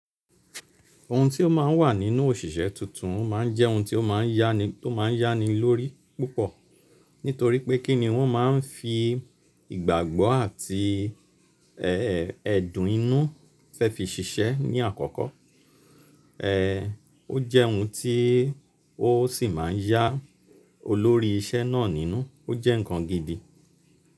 Ohun tí ó máa n wà nínú òṣìṣẹ́ tuntun, o máa n jẹ́ ohun tí ó máa n yá ni, tó máa n yá ni lórí púpọ̀. Nítorí pé kí ni wọ́n máa n fi ìgbàgbọ́ àti, ẹ́ẹ́, ẹ̀dùn inú fẹ́ fi ṣiṣẹ́ ní àkọ́kọ́. Ẹ́ẹ́, ó jẹ́ ohun tí ó sì má n yá olórí isẹ́ náà nínú. Ó jẹ́ ǹkan gidi.